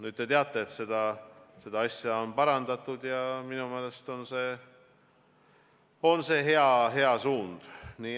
Nüüd te teate, et seda asja on parandatud, ja minu meelest on see hea suund.